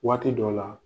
Waati dɔ la